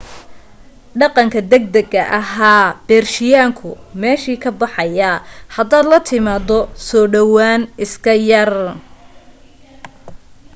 dhaqanka degdeg ahee beershiyaanku meeshuu ka baxayaa hadaad la timaado soo dhawaan iska yar